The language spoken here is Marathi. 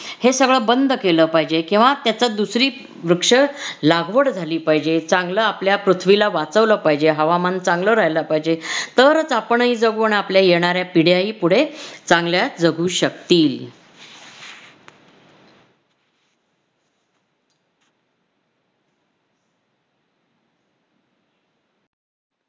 हे सगळं बंद केलं पाहिजे किंवा त्याच दुसरी वृक्ष लागवड झाली पाहिजे चांगलं आपल्या पृथ्वीला वाचवलं पाहिजे. हवामान चांगलं राहील पाहिजे तरच आपणही जगू आणि आपल्या येणाऱ्या पिढयाही पुढे चांगल्या जगू शकतील.